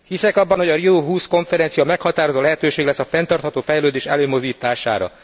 Hiszek abban, hogy a Rio20 konferencia meghatározó lehetőség lesz a fenntartható fejlődés előmozdítására.